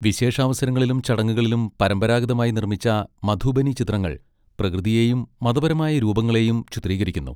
വിശേഷാവസരങ്ങളിലും ചടങ്ങുകളിലും പരമ്പരാഗതമായി നിർമ്മിച്ച മധുബനി ചിത്രങ്ങൾ പ്രകൃതിയെയും മതപരമായ രൂപങ്ങളെയും ചിത്രീകരിക്കുന്നു.